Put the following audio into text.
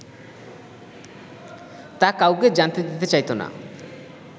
তা কাউকে জানতে দিতে চাইতো না